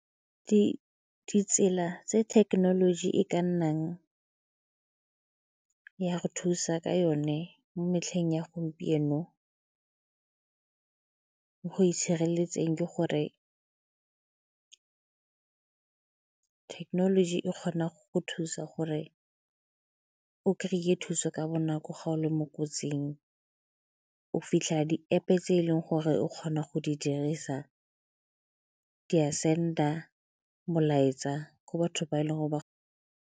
Ditsela tse thekenoloji e ka nnang ya go thusa ka yone mo metlheng ya gompieno, go itshireletseng ke gore thekenoloji e kgona go thusa gore o kry-e thuso ka bonako ga o le mo kotsing, o fitlhela di-App-e tse e leng gore o kgona go di dirisa di send-a molaetsa go batho ba e leng gore ba.